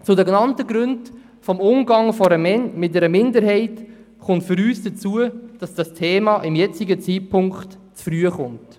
Zu den genannten Gründen vom Umgang mit einer Minderheit kommt für uns hinzu, dass das Thema zum jetzigen Zeitpunkt zu früh kommt.